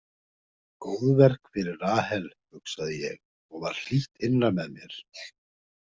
Góðverk fyrir Rahel, hugsaði ég og varð hlýtt innra með mér.